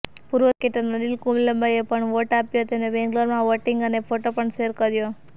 પૂર્વ ક્રિકેટર અનિલ કુંબલેએ પણ વોટ આપ્યો એમને બેંગ્લોરમાં વોટિંગ અને ફોટો પણ શેર કર્યો